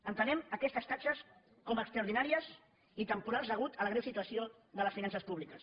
entenem aquestes taxes com a extraordinàries i temporals a causa de la greu situació de les finances públiques